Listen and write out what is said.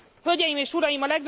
Hölgyeim és Uraim!